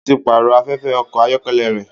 Ó ti pààrọ̀ afẹ́fẹ́ ọkọ̀ ayọ́kẹ́lẹ́ rẹ̀.